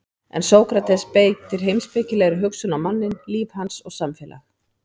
En Sókrates beitir heimspekilegri hugsun á manninn, líf hans og samfélag.